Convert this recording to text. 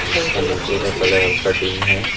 इसका नीचे का कलर हल्का डीम है।